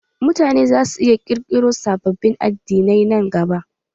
Mutane zasu iya ƙirƙiro sababbin addinai nan gaba.